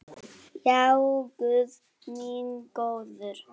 Já, guð minn góður.